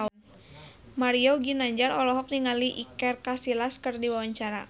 Mario Ginanjar olohok ningali Iker Casillas keur diwawancara